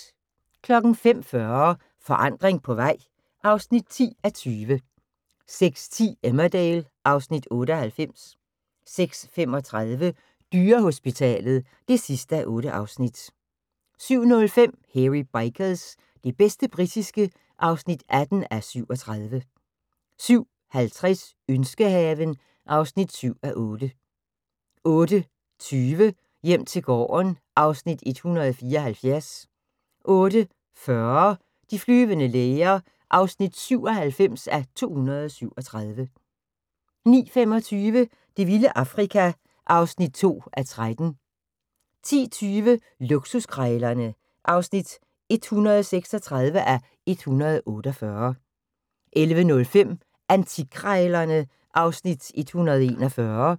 05:40: Forandring på vej (10:20) 06:10: Emmerdale (Afs. 98) 06:35: Dyrehospitalet (8:8) 07:05: Hairy Bikers – det bedste britiske (18:37) 07:50: Ønskehaven (7:8) 08:20: Hjem til gården (Afs. 174) 08:40: De flyvende læger (97:237) 09:25: Det vilde Afrika (2:13) 10:20: Luksuskrejlerne (136:148) 11:05: Antikkrejlerne (Afs. 141)